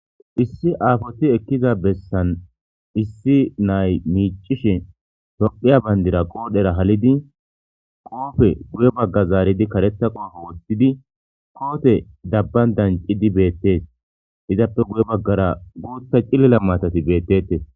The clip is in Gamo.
Issi aafoti ekkiza bessan issi nay miicishe tophiya bayndira qoodhera halidi qoofe guye bagga zaaridi karetha qoofo woththidi koote dabban dancidi beette izappe guye baggara guutpe cillila maatati beettete.